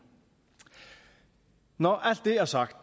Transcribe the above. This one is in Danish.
når alt det er sagt